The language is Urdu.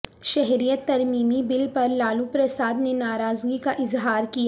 شہریت ترمیمی بل پر لالو پرساد نے ناراضگی کا اظہارکیا